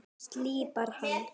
Slípar hana.